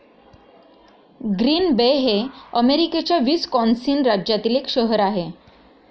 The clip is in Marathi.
ग्रीन बे हे अमेरिकेच्या विस्कॉन्सिन राज्यातील एक शहर आहे.